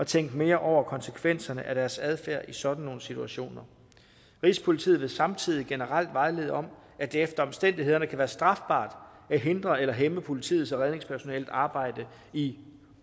tænke mere over konsekvenserne af deres adfærd i sådan nogle situationer rigspolitiets vil samtidig generelt vejlede om at det efter omstændighederne kan være strafbart at hindre eller hæmme politiets og redningspersonalets arbejde i